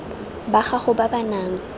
ba gago ba ba nang